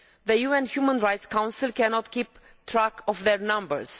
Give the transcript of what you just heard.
The UN Human Rights Council cannot keep track of their numbers.